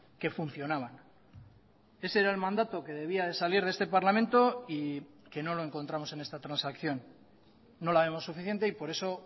que funcionaban ese era el mandato que debía de salir de este parlamento y que no lo encontramos en esta transacción no la vemos suficiente y por eso